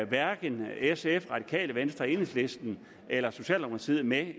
hverken sf radikale venstre enhedslisten eller socialdemokratiet er med